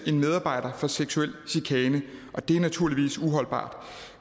en medarbejder for seksuel chikane og det er naturligvis uholdbart